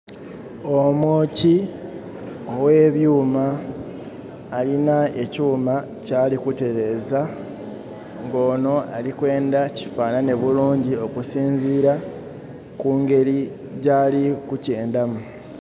Omwookyi, oghebyuuma, alina ekyuuma kyali kutereeza. Ng'onho ali kwenda kifaanhanhe bulungi okusinziira ku ngleli gyali kukyendhamu.